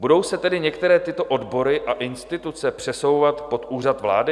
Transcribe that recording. Budou se tedy některé tyto odbory a instituce přesouvat pod Úřad vlády?